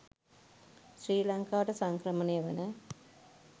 ශ්‍රී ලංකාවට සංක්‍රමණය වන